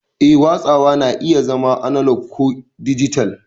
Eh, watsawa na iya zama analog ko dijital.